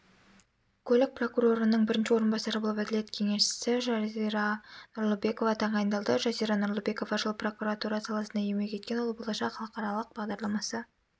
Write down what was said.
көлік прокурорының бірінші орынбасары болып әділет кеңесшісі жариза нұрлыбекова тағайындалды жазира нұрлыбекова жыл прокуратура саласында еңбек еткен ол болашақ халықаралық бағдарламасы